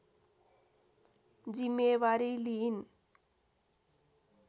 जिम्मेवारी लिइन्